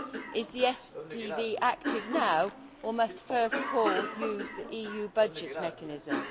Is the SPV active now or must first calls use the EU budget mechanism?